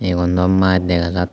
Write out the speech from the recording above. igun do maj dega jat.